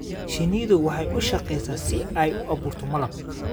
Shinnidu waxay u shaqaysaa si ay u abuurto malab.